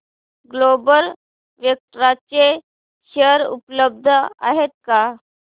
global Vectra चे share उपलब्ध आहेत का